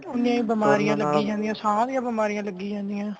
ਉਨ੍ਹੀਆਂ ਹੀ ਬਿਮਾਰੀਆਂ ਲਗਿਆਂ ਜਾਂਦੀਆਂ ਸਾਰੀਆਂ ਬਿਮਾਰੀਆਂ ਲਗਿਆਂ ਜਾਂਦੀਆਂ